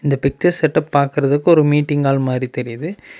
இந்த picture setup பாக்குறதுக்கு ஒரு மீட்டிங் ஹால் மாதிரி தெரியுது.